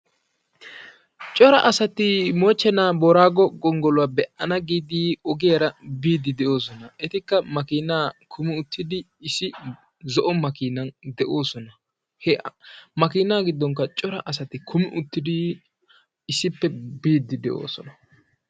cora asati moochenaa booraago gongoluwa be'ana ggidi ogiyaara biidi de'oosona. etikka makiinaa kummi uttidi issi zo'o makiinan de'oosona. makiinaa giddonkka cora asti kummi uttidi issippe biidi de'oosona.